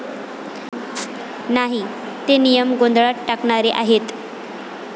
नाही. ते नियम गोंधळात टाकणारे आहेत.